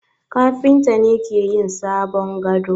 Kafinta ne ke yin sabon gado.